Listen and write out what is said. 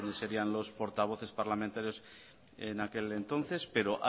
quiénes serían los portavoces parlamentarios en aquel entonces pero